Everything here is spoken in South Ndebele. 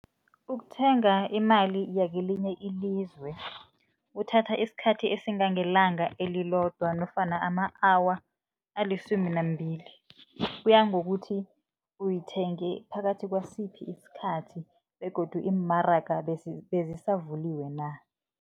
Ukuthenga imali yakelinye ilizwe kuthatha isikhathi esingangelanga elilodwa nofana ama-awa alisumi nambili, kuya ngokuthi uyithenge phakathi kwasiphi isikhathi begodu iimaraga bezisavuliwe na.